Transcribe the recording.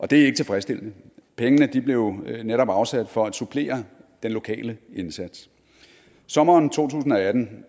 det er ikke tilfredsstillende pengene blev netop afsat for at supplere den lokale indsats sommeren to tusind og atten